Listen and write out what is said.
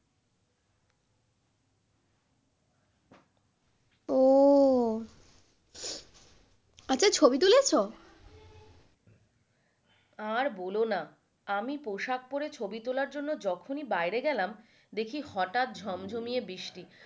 ও আচ্ছা ছবি তুলেছো? আর বোলো না আমি পোশাক পরে ছবি তোলার জন্য যখনই বাইরে গেলাম দেখি হঠাৎ ঝমঝমিয়ে বৃষ্টি।